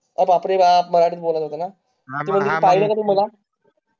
मराठीत बोलायचं होता ना तू पहिल कधी मला